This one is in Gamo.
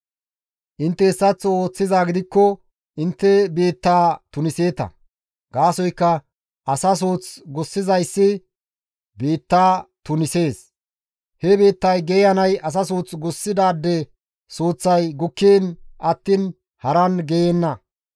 Intte hessaththo ooththizaa gidikko intte biittaa tuniseeta; gaasoykka asa suuth gussizayssi biitta tunisees; he biittay geeyanay asa suuth gussidaade suuththay gukkiin attiin haran geeyenna.